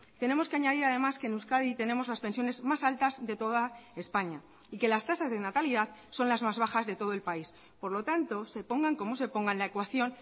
tenemos que añadir además que en euskadi tenemos las pensiones más altas de toda españa y que las tasas de natalidad son las más bajas de todo el país por lo tanto se pongan como se pongan la ecuación